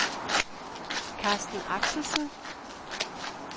Karsten Axelsen